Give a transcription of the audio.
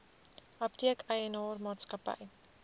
apteek eienaar maatskappy